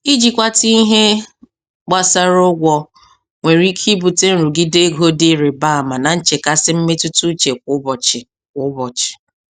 Ijikwata ihe gbasara ụgwọ nwere ike ibute nrụgide ego dị ịrịba ama na nchekasị mmetụta uche kwa ụbọchị. kwa ụbọchị.